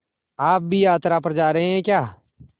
आप भी यात्रा पर जा रहे हैं क्या